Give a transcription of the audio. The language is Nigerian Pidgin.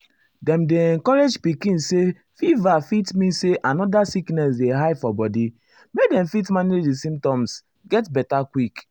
dem dey encourage pikin say fever fit mean say another sickness dey hide for body make dem fit manage di symptoms get beta quick.